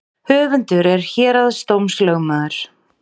Höfundur er héraðsdómslögmaður